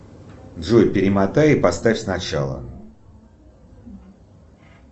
джой перемотай и поставь сначала